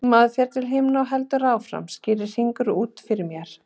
Maður fer til himna og heldur áfram þar, skýrir Hringur út fyrir mér.